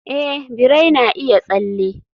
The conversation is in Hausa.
a, birai na iya tsalle